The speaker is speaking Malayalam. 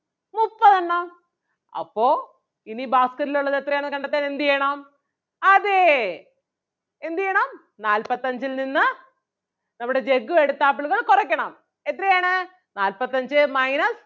മുപ്പതെണ്ണം അപ്പൊ ഇനി basket ൽ ഉള്ളത് എത്രയാണെന്ന് കണ്ടെത്താൻ എന്ത് ചെയ്യണം അതേ എന്ത് ചെയ്യണം നാല്പത്തഞ്ചിൽ നിന്ന് നമ്മുടെ ജഗ്ഗു എടുത്ത ആപ്പിളുകൾ കൊറയ്ക്കണം എത്രയാണ് നാല്പത്തഞ്ചേ minus